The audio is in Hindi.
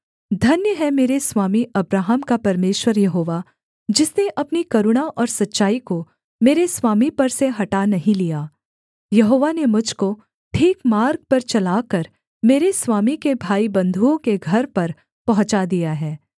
धन्य है मेरे स्वामी अब्राहम का परमेश्वर यहोवा जिसने अपनी करुणा और सच्चाई को मेरे स्वामी पर से हटा नहीं लिया यहोवा ने मुझ को ठीक मार्ग पर चलाकर मेरे स्वामी के भाईबन्धुओं के घर पर पहुँचा दिया है